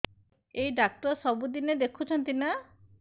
ଏଇ ଡ଼ାକ୍ତର ସବୁଦିନେ ଦେଖୁଛନ୍ତି ନା